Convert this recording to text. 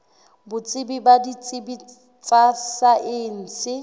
botsebi ba ditsebi tsa saense